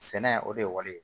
Sɛnɛ o de ye wali ye